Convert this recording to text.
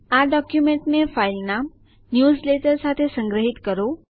આ ડોકયુમેન્ટને ફાઈલનામ ન્યૂઝલેટર સાથે સંગ્રહિત કરો